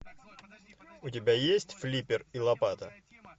у тебя есть флиппер и лопата